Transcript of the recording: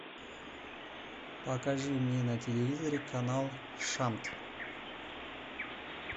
покажи мне на телевизоре канал шант